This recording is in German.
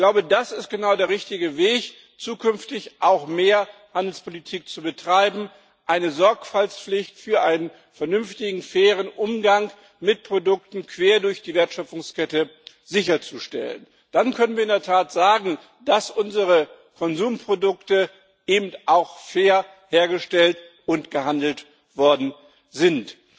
Ich glaube, das ist genau der richtige Weg, um zukünftig auch mehr Handelspolitik zu betreiben und eine Sorgfaltspflicht für einen vernünftigen, fairen Umgang mit Produkten quer durch die Wertschöpfungskette sicherzustellen. Dann können wir in der Tat sagen, dass unsere Konsumprodukte fair hergestellt und gehandelt worden sind.